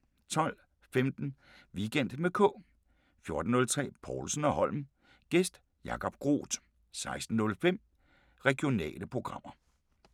12:15: Weekend med K 14:03: Povlsen & Holm: Gæst Jacob Groth 16:05: Regionale programmer